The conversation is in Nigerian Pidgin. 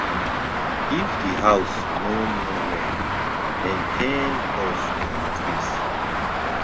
if di house no no well maintained cost go increase